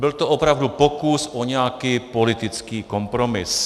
Byl to opravdu pokus o nějaký politický kompromis.